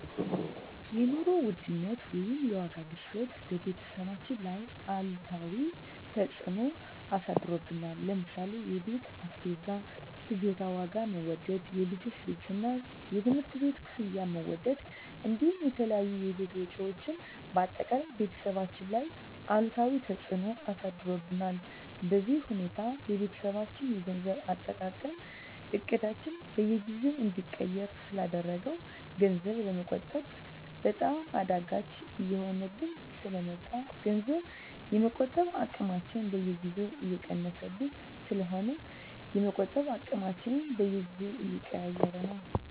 የኑሮ ውድነት ወይም የዋጋ ግሽበት በቤተሰባችን ላይ አሉታዊ ተፅዕኖ አሳድሮብናል ለምሳሌ የቤት አስቤዛ ፍጆታ ዋጋ መወደድ፣ የልጆች ልብስና የትምህርት ቤት ክፍያ መወደድ እንዲሁም የተለያዩ የቤት ወጪዎች በአጠቃላይ ቤተሰባችን ላይ አሉታዊ ተፅዕኖ አሳድሮብናል። በዚህ ሁኔታ የቤተሰባችን የገንዘብ አጠቃቀም እቅዳችንን በየጊዜው እንዲቀየር ስላደረገው ገንዘብ ለመቆጠብ በጣም አዳጋች እየሆነብን ስለ መጣ ገንዘብ የመቆጠብ አቅማችን በየጊዜው እየቀነሰብን ስለሆነ የመቆጠብ አቅማችንን በየጊዜው እየቀያየረው ነው።